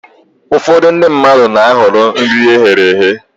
Ụfọdụ ndị mmadụ na-ahọrọ nri eghere eghe